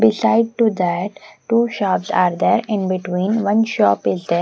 beside to that two shops are there in between one shop is there.